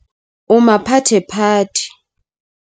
O maphathephathe.